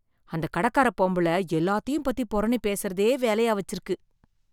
அந்த கடக்கார பொம்பள எல்லாத்தையும் பத்தி புரணி பேசறதே வேலையா வச்சிருக்கு